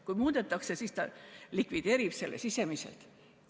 Kui muudetakse, siis ta likvideerib selle sisemiselt.